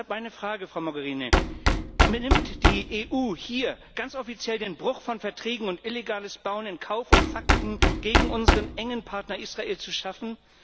Deshalb meine Frage, Frau Mogherini Nimmt die EU hier ganz offiziell den Bruch von Verträgen und illegales Bauen in Kauf, um Fakten gegen unseren engen Partner Israel zu schaffen?